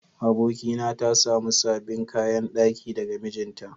Abokina ta samu sabbin kayan daki daga mijinta.